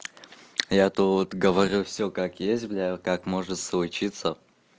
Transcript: я тут говорю все как есть бля во как может случиться